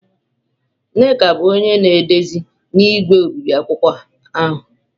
Nneka bụ onye na-edezi na igwe obibi akwụkwọ ahụ.